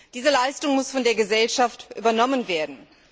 Diese Leistung muss von der Gesellschaft übernommen werden.